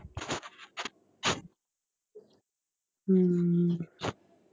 ਹਮ